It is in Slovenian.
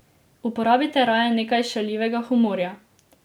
Uporabite raje nekaj šaljivega humorja.